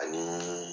Ani